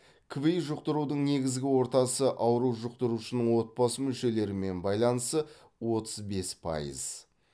кви жұқтырудың негізгі ортасы ауру жұқтырушының отбасы мүшелерімен байланысы отыз бес пайыз